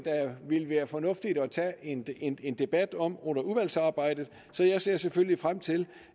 vil være fornuftigt at tage en en debat om under udvalgsarbejdet så jeg ser selvfølgelig frem til